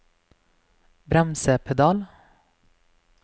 bremsepedal